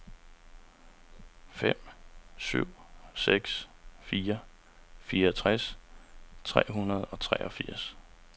fem syv seks fire fireogtres tre hundrede og treogfirs